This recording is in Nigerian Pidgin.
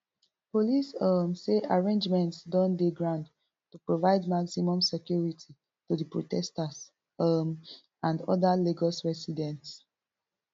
police um say arrangements don dey ground to provide maximum security to di protesters um and oda lagos residents